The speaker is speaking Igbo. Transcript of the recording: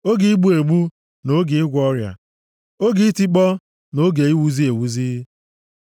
oge igbu egbu; na oge ịgwọ ọrịa, oge itikpọ na oge iwuzi ewuzi,